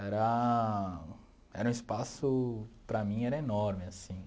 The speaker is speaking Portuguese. Era... Era um espaço, para mim, era enorme, assim.